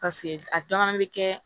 Paseke a dɔw fana bɛ kɛ